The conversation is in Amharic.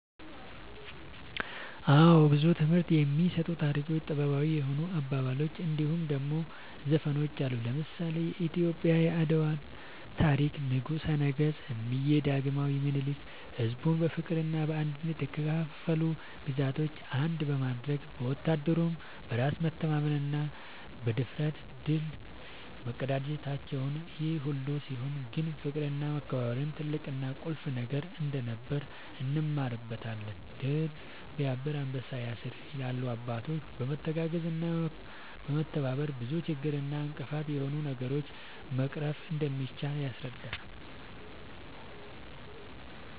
አወ ብዙ ትምህርት የሚሰጡ ታሪኮች ጥበባዊ የሆኑ አባባሎች እንድሁም ደሞ ዘፈኖች አሉ። ለምሳሌ :-የኢትዮጵያ የአድዋ ታሪክ ንጉሰ ነገስት እምዬ ዳግማዊ ምኒልክ ሕዝቡን በፍቅርና በአንድነት የተከፋፈሉ ግዛቶችን አንድ በማድረግ ወታደሩም በራስ መተማመንና ብድፍረት ድል መቀዳጀታቸውን ይሄ ሁሉ ሲሆን ግን ፍቅርና መከባበር ትልቅና ቁልፍ ነገር እንደነበር እንማርበታለን # "ድር ስያብር አንበሳ ያስር" ይላሉ አባቶች በመተጋገዝና በመተባበር ብዙ ችግር እና እንቅፋት የሆኑ ነገሮችን መቅረፍ እንደሚቻል ያስረዳሉ